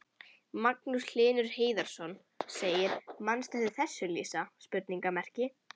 Magnús Hlynur Hreiðarsson: Manstu eftir þessu Lísa?